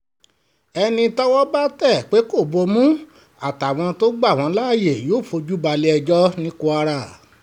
ẹni tọ́wọ́ bá tẹ̀ pé kó lo ìbomú àtàwọn tó gbà wọ́n láàyè yóò fojú balẹ̀-ẹjọ́ ní kwara